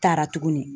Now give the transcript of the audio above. Taara tuguni